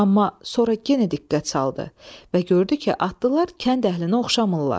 Amma sonra yenə diqqət saldı və gördü ki, atlılar kənd əhlinə oxşamırlar.